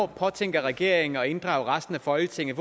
påtænker regeringen at inddrage resten af folketinget